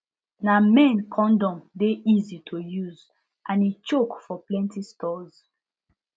na men condom de easy to use and e choke for plenty stores